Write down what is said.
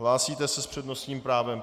Hlásíte se s přednostním právem.